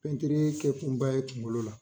Pɛntiri kɛ kunba ye kunkolo la